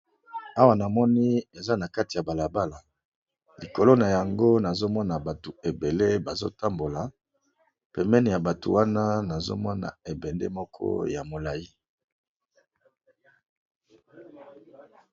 Awa namoni eza eza nakati ya balabala likolo nango nazomona batu ebele bazo tambola pembeni ya batu wana nazomona ebende moko ya molayi.